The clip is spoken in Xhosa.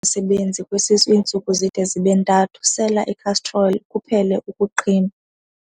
sebenzi kwesisu iintsuku zide zibe ntathu, sela ikhastroli kuphele ukuqhinwa.